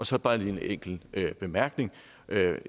så bare en enkelt bemærkning